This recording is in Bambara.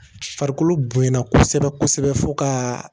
Farikolo bonya kosɛbɛ kosɛbɛ fo ka